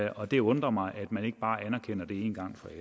og det undrer mig at man ikke bare anerkender det en gang